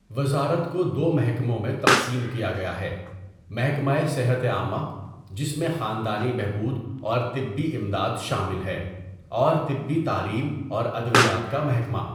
وزارت کو دو محکموں میں تقسیم کیا گیا ہے محکمہ صحت عامہ، جس میں خاندانی بہبود اور طبی امداد شامل ہے، اور طبی تعلیم اور ادویات کا محکمہ.